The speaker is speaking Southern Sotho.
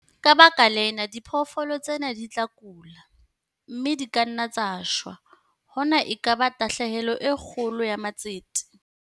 Ka baka lena, diphoofolo tsena di tla kula, mme di ka nna tsa shwa - hona e ka ba tahlehelo e kgolo ya matsete!